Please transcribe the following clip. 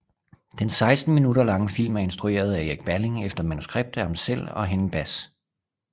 Den 16 minutter lange film er instrueret af Erik Balling efter manuskript af ham selv og Henning Bahs